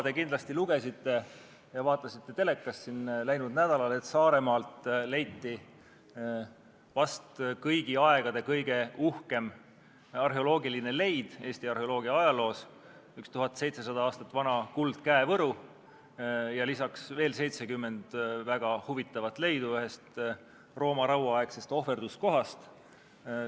Te kindlasti lugesite ja vaatasite telekast läinud nädalal, et Saaremaal leiti vast kõigi aegade kõige uhkem arheoloogiline leid Eesti arheoloogia ajaloos, üks 1700 aastat vana kuldkäevõru ja lisaks veel 70 väga huvitavat leidu ühest Rooma rauaaegsest ohverduskohast.